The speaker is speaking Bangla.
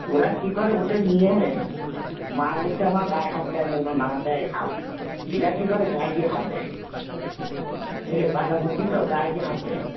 ওরা কি করে ওদের হিয়ম এ মা বলছে দেয় যখন না দেয় হাত, এরা কি গায়ে গিয়ে হাত দেয় কাঁচা মুর্তিত গায়ে গিয়ে হাত দেয়